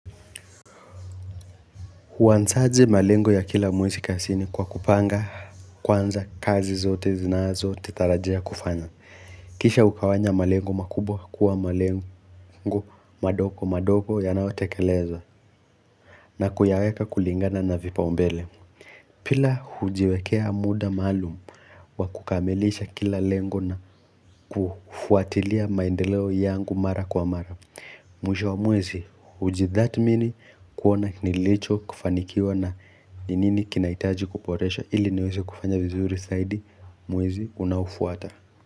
Huansaje malengo ya kila mwezi kasini kwa kupanga kwanza kazi zote zinazo titarajia kufanya. Kisha ukawanya malengo makubwa kuwa malengo madoko madoko ya naotekelezo na kuyaweka kulingana na vipa umbele. Pila hujiwekea muda maalum wa kukamilisha kila lengo na kufuatilia maendeleo yangu mara kwa mara. Mwisho wa mwezi, uji that mini kuona nilicho kufanikiwa na ninini kinaitaji kuporesha ili niweze kufanya vizuri saidi mwezi unafuata.